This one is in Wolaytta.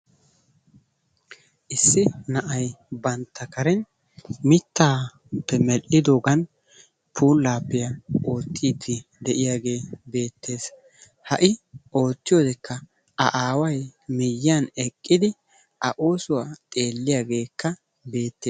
Issi na'ay bantta karen mittappe medhdhidogan pullappiya oottidi de'iyagee beettees. Ha I oottiyodekka A aawaay miyiyan eqqidi A oosuwaa xeeliyageekka beettees.